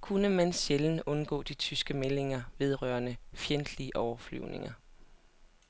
kunne man sjældent undgå de tyske meldinger vedrørende fjendtlige overflyvninger.